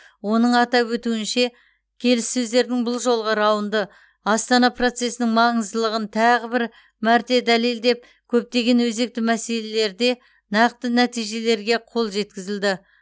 оның атап өтуінше келіссөздердің бұл жолғы раунды астана процесінің маңыздылығын тағы бір мәрте дәлелдеп көптеген өзекті мәселелерде нақты нәтижелерге қол жеткізілді